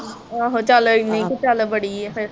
ਆਹੋ ਚਲ ਇਹਨੀ ਕਾ ਚਲ ਬੜੀ ਆ ਫਿਰ